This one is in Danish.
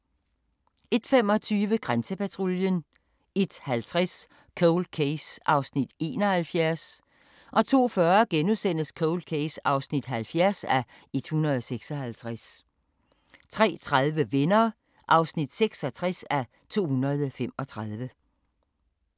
01:25: Grænsepatruljen 01:50: Cold Case (71:156) 02:40: Cold Case (70:156)* 03:30: Venner (66:235)